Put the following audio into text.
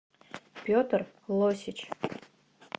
петр лосич